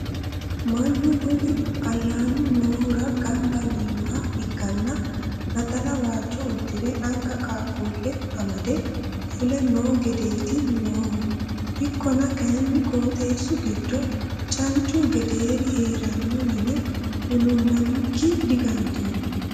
Manny kuni ayyannu noohura gamba yiinoha ikkanna naxala waajo uddire anga qaaqqule amadde fule noo gedeti noohu ikkonna kayinni qooxeesu giddo cancu gederi heerano yine huluulamikki digantonni.